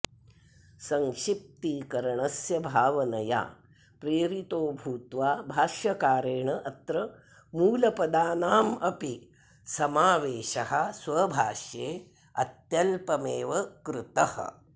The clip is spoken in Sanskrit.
संक्षिप्तीकरणस्य भावनया प्रेरितो भूत्वा भाष्यकारेण अत्र मूलपदानामपि समावेशः स्वभाष्ये अत्यल्पमेव कृतः